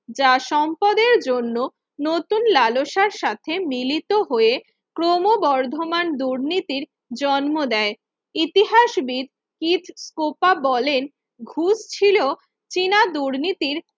যা সম্পদের জন্য নতুন লালসার সাথে মিলিত হয়ে ক্রমবর্ধমান দুর্নীতির জন্ম দেয় ইতিহাসবিদ হীদ কোপা বলেন ঘুষ ছিল সিনা দুর্নীতির